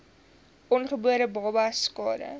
ongebore babas skade